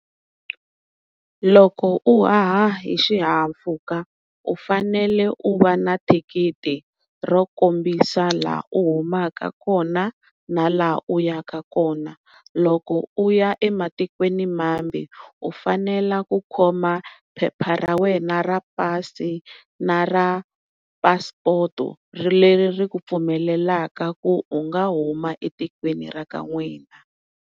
Loko u haha hi xihahampfhuka u fanele u va na thikithi ro kombisa laha u humaka kona na laha u ya ka kona, loko u ya ematikweni mambe u fanela ku khoma phepha ra wena ra pasi na ra phasipoto leri ri ku pfumelelaka ku u nga huma etikweni ra n'wina.